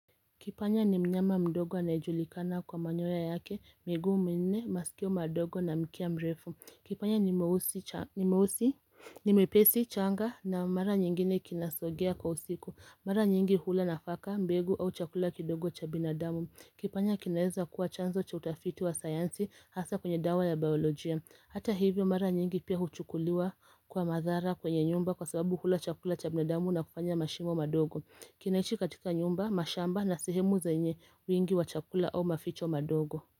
Kipanya ni mnyama mdogo anajulikana kwa manyoya yake, miguu minne, masikio madogo na mkia mrefu. Kipanya ni mwepesi changa na mara nyingine kinasogea kwa usiku. Mara nyingi hula nafaka, mbegu au chakula kidogo cha binadamu. Kipanya kinaeza kuwa chanzo cha utafiti wa sayansi hasa kwenye dawa ya biolojia. Hata hivyo mara nyingi pia huchukuliwa kwa madhara kwenye nyumba kwa sababu hula chakula cha binadamu na kufanya mashimo madogo. Kinaishi katika nyumba, mashamba na sehemu zenye wingi wa chakula au maficho madogo.